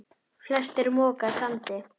Flestir moka sandi.